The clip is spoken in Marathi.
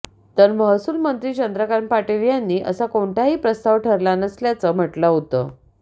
तर महसूल मंत्री चंद्रकांत पाटील यांनी असा कोणताही प्रस्ताव ठरला नसल्याचं म्हटलं होतं